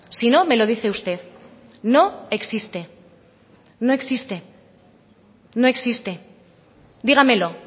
si no me lo dice usted no existe dígamelo